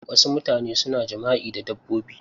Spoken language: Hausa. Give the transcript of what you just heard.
Wasu mutane suna jima'i da dabbobi.